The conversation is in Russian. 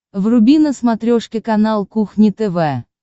вруби на смотрешке канал кухня тв